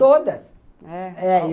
Todas! É? é.